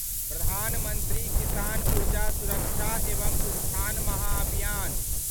प्रधान मंत्री किसान ऊर्जा सुरक्षा एवम उत्थान महाभियान